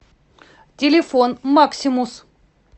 телефон максимус